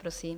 Prosím.